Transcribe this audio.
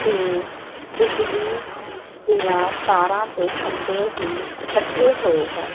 ਤੇ ਬਿਜਲੀ ਦਿਆਂ ਤਾਰਾਂ ਤੇ ਖੰਭੇ ਵੀ ਲੱਗੇ ਹੋਏ ਹੈਂ।